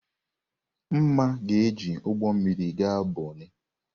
Mma ga-eji ụgbọ mmiri gaa Bonnị.